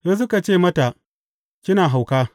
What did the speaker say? Sai suka ce mata, Kina hauka.